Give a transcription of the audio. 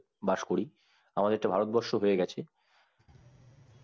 বাস করি আমাদের তো ভারতবর্ষ হয়েগেছে